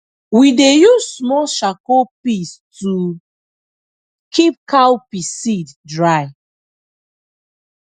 we dey use small charcoal piece to keep cowpea seed dry